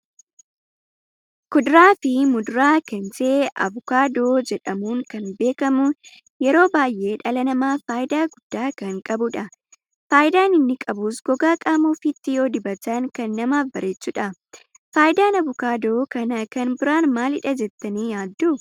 Kuduraa fi muduraa kan ta'e Abuukaadoo jedhamuudhan kan beekamu, yeroo baay'ee dhala namaaf faayida gudda kan qabudha. Faayida inni qabus gogaa qaama ofitti yoo dibatan kan namaaf bareechudha. Faayidaan abuukaadoo kana kan biraan maaliidha jettani yaaddu?